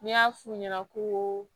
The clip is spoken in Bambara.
N'i y'a f'u ɲɛna ko